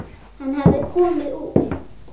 Hann hafði komið úr